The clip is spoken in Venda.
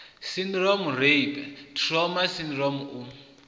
syndrome rape trauma sydrome u